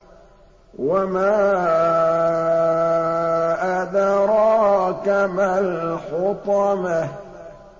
وَمَا أَدْرَاكَ مَا الْحُطَمَةُ